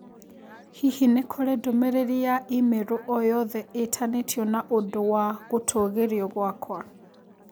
Hihi nĩ kũrĩ ndũmĩrĩri ya i-mīrū o yothe ĩtanĩtio na ũndũ wa gũtũũgĩrio gwakwa?